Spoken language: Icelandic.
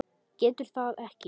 Getur það ekki.